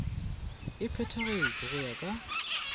e phethagatšwe go ya ka